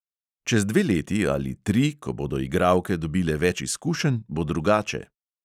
Čez dve leti ali tri, ko bodo igralke dobile več izkušenj, bo drugače.